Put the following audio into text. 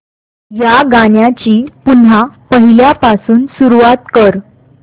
या गाण्या ची पुन्हा पहिल्यापासून सुरुवात कर